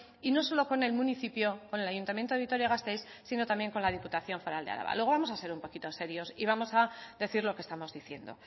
y no solo con el municipio con el ayuntamiento de vitoria gasteiz sino también con la diputación foral de araba luego vamos a ser un poquito serios y vamos a decir lo que estamos diciendo